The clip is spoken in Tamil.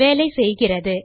வேலை செய்கிறது